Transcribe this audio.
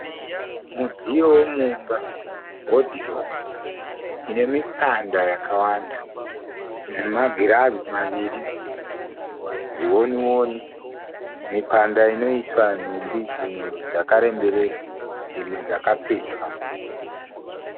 Mudziyo womumba wodhiropu ine mipanda yakawanda namagirazi maviri zvioni oni. Mipanda inoiswa nhumbi dzimwe dzakaremberera dzimwe dzakapetwa.